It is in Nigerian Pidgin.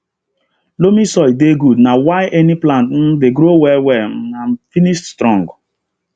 loamy soil dey good na why any plant um dey grow well well um and finish strong